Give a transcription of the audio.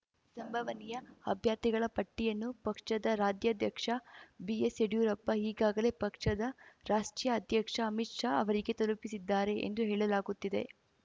ಸಂಭವನೀಯ ಅಭ್ಯರ್ಥಿಗಳ ಪಟ್ಟಿಯನ್ನು ಪಕ್ಷದ ರಾಜ್ಯಾಧ್ಯಕ್ಷ ಬಿಎಸ್ ಯಡ್ಯೂರಪ್ಪ ಈಗಾಗಲೇ ಪಕ್ಷದ ರಾಷ್ಟ್ರೀಯ ಅಧ್ಯಕ್ಷ ಅಮಿತ್ ಶಾ ಅವರಿಗೆ ತಲುಪಿಸಿದ್ದಾರೆ ಎಂದು ಹೇಳಲಾಗುತ್ತಿದೆ